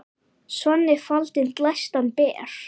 Svanni faldinn glæstan ber.